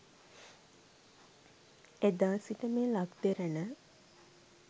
එදා සිට මේ ලක් දෙරණ